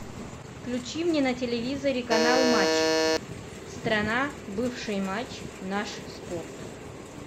включи мне на телевизоре канал матч страна бывший матч наш спорт